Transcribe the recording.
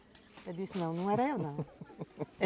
Ele disse, não, não era eu não